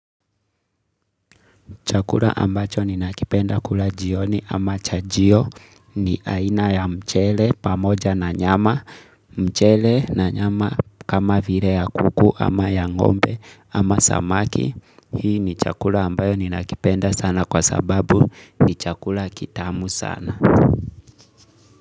Chakula ambacho ni nakipenda kula jioni ama chajio ni aina ya mchele pamoja na nyama. Mchele na nyama kama vire ya kuku ama ya ngombe ama samaki. Hii ni chakula ambayo ni nakipenda sana kwa sababu ni chakula kitamu sana.